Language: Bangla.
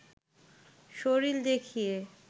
শরীর দেখিয়ে